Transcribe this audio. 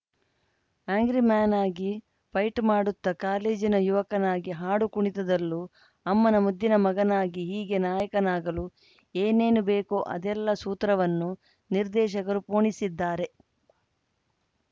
angry man ಆಗಿ fight ಮಾಡುತ್ತಾ ಕಾಲೇಜಿನ ಯುವಕನಾಗಿ ಹಾಡುಕುಣಿತದಲ್ಲೂ ಅಮ್ಮನ ಮುದ್ದಿನ ಮಗನಾಗಿ ಹೀಗೆ ನಾಯಕನಾಗಲು ಏನೇನು ಬೇಕೋ ಅದೆಲ್ಲಾ ಸೂತ್ರವನ್ನೂ ನಿರ್ದೇಶಕರು ಪೋಣಿಸಿದ್ದಾರೆ